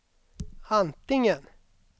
antingen